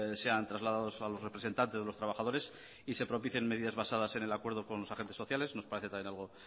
sean trasladados a los representantes de los trabajadores y se propicien medidas basadas en el acuerdo con los agentes sociales nos parece también algo